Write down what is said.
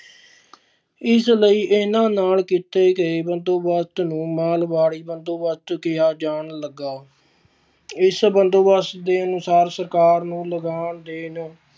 ਇਸ ਲਈ ਇਹਨਾਂ ਨਾਲ ਕੀਤੇ ਗਏ ਬੰਦੋਬਸਤ ਨੂੰ ਮਾਲਵਾੜੀ ਬੰਦੋਬਸਤ ਕਿਹਾ ਜਾਣ ਲੱਗਾ, ਇਸ ਬੰਦੋਬਸਤ ਦੇ ਅਨੁਸਾਰ ਸਰਕਾਰ ਨੂੰ ਲਗਾਨ ਦੇਣ